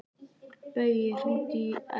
Baui, hringdu í Ellu.